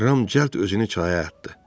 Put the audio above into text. Ram cəld özünü çaya atdı.